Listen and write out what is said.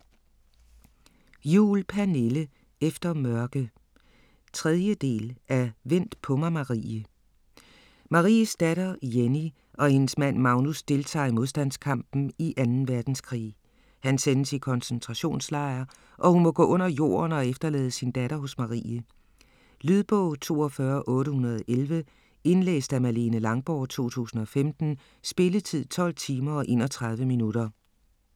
Juhl, Pernille: Efter mørke 3. del af Vent på mig Marie. Maries datter Jenny og hendes mand Magnus deltager i modstandskampen i 2. verdenskrig. Han sendes i koncentrationslejr, og hun må gå under jorden og efterlade sin datter hos Marie. Lydbog 42811 Indlæst af Malene Langborg, 2015. Spilletid: 12 timer, 31 minutter.